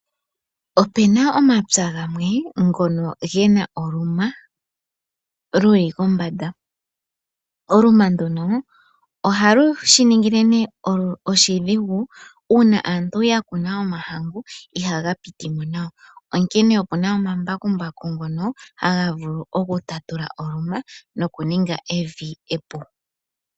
Opena omapya gamwe ngono gena oluma luli kombanda . Oluma nduno ohalu shi ningi oshidhigu uuna aantu yakuna omahangu ihaga pitimo nawa. Onkene opuna omambakumbaku ngono haga vulu oku tatula oluma nokuninga evi epu.